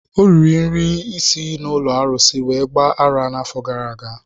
Ọ riri nri si n'ụlọ arụsị wee gba ara n'afọ gara aga.